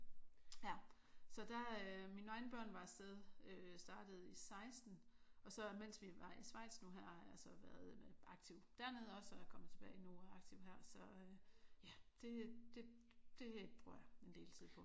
Ja så der øh mine egne børn var af sted. Øh startede i 16 og så mens vi var i Schweiz nu har jeg så været aktiv dernede også og er kommet tilbage nu er jeg aktiv her så øh ja det det bruger jeg en del tid på